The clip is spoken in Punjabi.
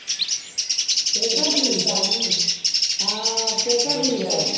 ਸਿਹਤਾਂ ਠੀਕ ਆ ਹਾਂ ਸਿਹਤਾਂ ਠੀਕ ਆ